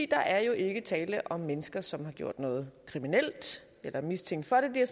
er jo ikke tale om mennesker som har gjort noget kriminelt eller er mistænkt for det de har